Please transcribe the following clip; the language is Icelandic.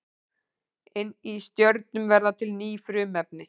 Inni í stjörnum verða til ný frumefni.